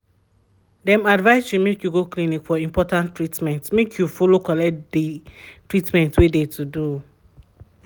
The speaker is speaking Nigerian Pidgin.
dem advice you make you go clinic for important treatment make you follow collect de um treatment wey de to do.